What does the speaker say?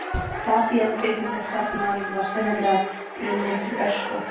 Fabían kvikmyndastjarna var sennilega brunninn til ösku.